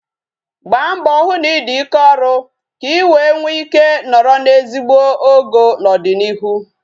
Gbaa mbọ hụ na ị dị ike ọrụ ka I wee nwe ike nọrọ n'ezigbo ogo n'ọdịnịihu